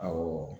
Awɔ